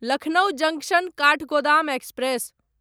Lucknow junction Kathgodam express